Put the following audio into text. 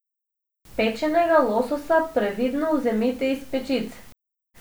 Pečenega lososa previdno vzemite iz pečice.